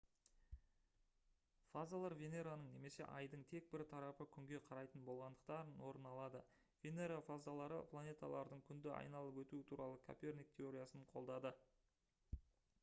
фазалар венераның немесе айдың тек бір тарапы күнге қарайтын болғандықтан орын алады. венера фазалары планеталардың күнді айналып өтуі туралы коперник теориясын қолдады